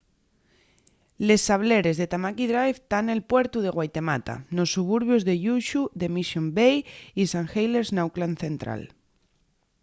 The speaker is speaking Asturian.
les sableres de tamaki drive tán nel puertu de waitemata nos suburbios de lluxu de mission bay y st heliers n’auckland central